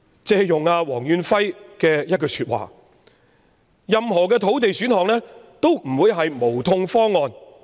借用黃遠輝的一句話，任何土地選項也不會是"無痛方案"。